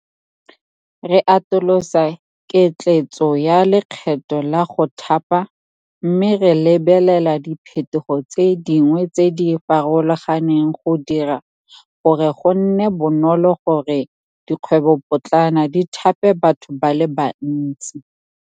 Re atolosa ketleetso ya lekgetho la go Thapa mme re lebelela diphetogo tse dingwe tse di farologaneng go dira gore go nne bonolo go re dikgwebopotlana di thape batho ba le bantsi.